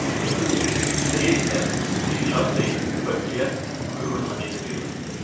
tre ett fyra tre fyrtioett sjuhundranittiofyra